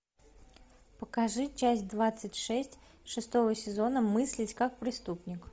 покажи часть двадцать шесть шестого сезона мыслить как преступник